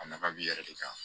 A nafa b'i yɛrɛ de kan